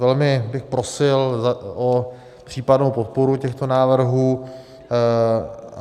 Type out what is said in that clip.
Velmi bych prosil o případnou podporu těchto návrhů.